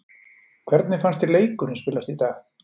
Hvernig fannst þér leikurinn spilast í dag?